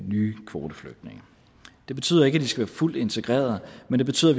nye kvoteflygtninge det betyder ikke at de skal være fuldt integreret men det betyder